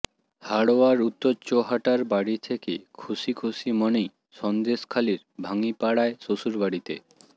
হাড়োয়ার উত্তর চোহাটার বাড়ি থেকে খুশি খুশি মনেই সন্দেশখালির ভাঙ্গিপাড়ায় শ্বশুর বাড়িতে